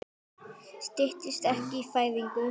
Styttist ekkert í fæðingu?